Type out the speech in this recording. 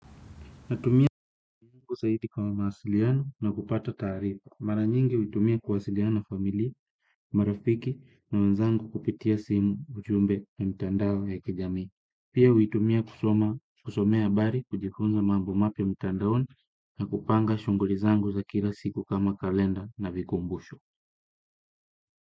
Natumia kwa zaidi kama mawasiliano na kupata taarifa. Mara nyingi huitumia kuwasiliana na familia, marafiki na wanzangu kupitia simu ujumbe na mtandao ya kijamii. Pia huitumia kusomea habari, kujifunza mambo mapya mtandaoni na kupanga shughuli zangu za kila siku kama kalenda na vikumbusho.